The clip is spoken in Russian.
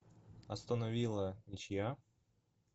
астон вилла ничья